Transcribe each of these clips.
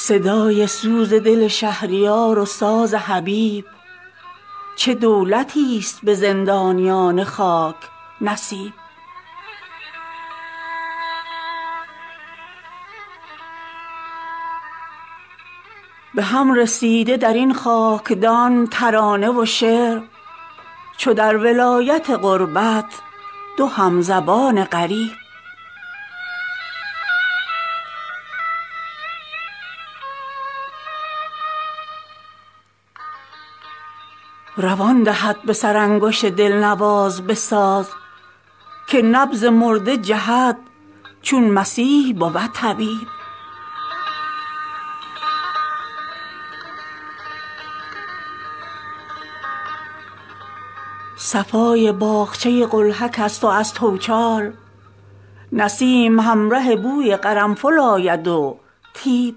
صدای سوز دل شهریار و ساز حبیب چه دولتی است به زندانیان خاک نصیب به هم رسیده در این خاکدان ترانه و شعر چو در ولایت غربت دو همزبان غریب روان دهد به سر انگشت دلنواز به ساز که نبض مرده جهد چون مسیح بود طبیب صفای باغچه قلهک است و از توچال نسیم همره بوی قرنفل آید و طیب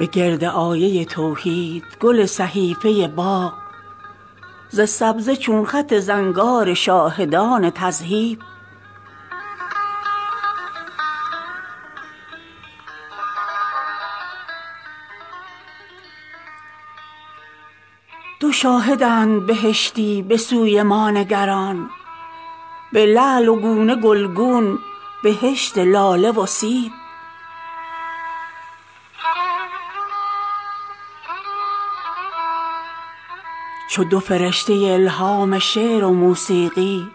به گرد آیه توحید گل صحیفه باغ ز سبزه چون خط زنگار شاهدان تذهیب دو شاهدند بهشتی بسوی ما نگران به لعل و گونه گلگون بهشت لاله و سیب به ترک چشم و چلیپای زلف بخشیده گناه فتنه چنگیز و جنگ های صلیب چو دو فرشته الهام شعر و موسیقی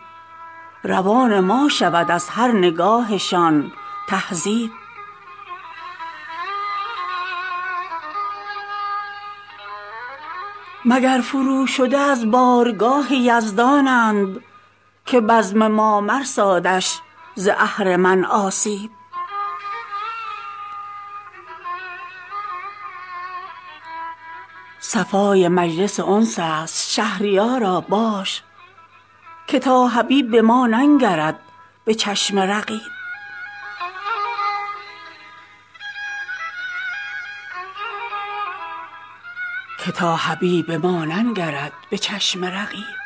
روان ما شود از هر نگاهشان تهذیب مگر فروشده از بارگاه یزدانند که بزم ما مرسادش ز اهرمن آسیب بریز باده که دستور منع می امشب حکومتی ست که مجلس نمی کند تصویب صفای مجلس انس است شهریارا باش که تا حبیب به ما ننگرد به چشم رقیب